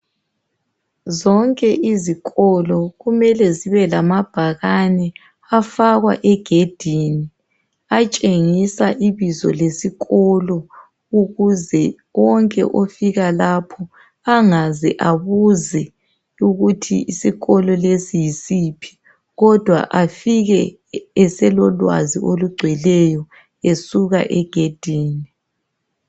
Zonke izikolo kumele zibe lamabhakane afakwa egedini atshengisa ibizo lesikolo ukuze wonke ofika lapho angaze abuze ukuthi isikolo lesi yisiphi kodwa afike eselolwazi olugcweleyo esuka egedini.